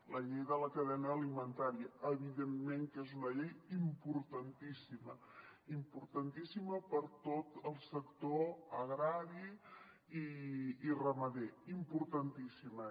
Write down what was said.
la llei de la cadena alimentària evidentment que és una llei importantíssima importantíssima per a tot el sector agrari i ramader importantíssima